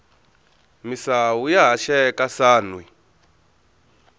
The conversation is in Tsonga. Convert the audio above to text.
misawu ya haxeka sanhwi